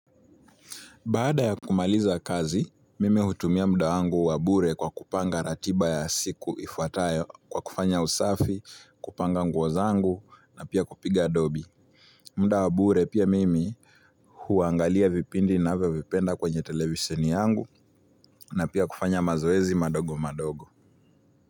Baada ya kumaliza kazi, mime hutumia mda wangu wabure kwa kupanga ratiba ya siku ifuatayo kwa kufanya usafi, kupanga nguo zangu na pia kupiga dobi. Mda wabure pia mimi huangalia vipindi navyo vipenda kwenye televisheni yangu na pia kufanya mazoezi madogo madogo.